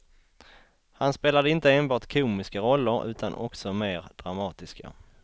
Han spelade inte enbart komiska roller utan också mer dramatiska.